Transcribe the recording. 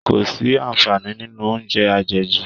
Kò sí àǹfààní nínú oúnjẹ àjẹjù